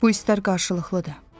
Bu istək qarşılıqlıdır.